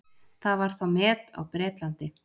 Það var þá met á Bretlandi.